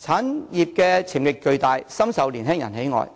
產業潛力巨大，深受年輕人喜愛。